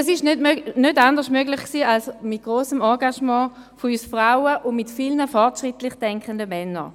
Dies war nicht anders möglich, als mit dem grossen Engagement von uns Frauen und mit vielen fortschrittlich denkenden Männern.